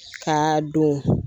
Kaa don